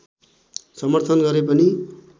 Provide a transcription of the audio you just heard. समर्थन गरे पनि